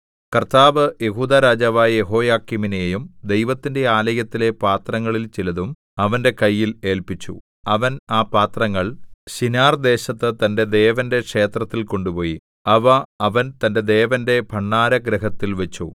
കർത്താവ് യെഹൂദാ രാജാവായ യെഹോയാക്കീമിനെയും ദൈവത്തിന്റെ ആലയത്തിലെ പാത്രങ്ങളിൽ ചിലതും അവന്റെ കയ്യിൽ ഏല്പിച്ചു അവൻ ആ പാത്രങ്ങൾ ശിനാർദേശത്ത് തന്റെ ദേവന്റെ ക്ഷേത്രത്തിൽ കൊണ്ടുപോയി അവ അവൻ തന്റെ ദേവന്റെ ഭണ്ഡാരഗൃഹത്തിൽ വച്ചു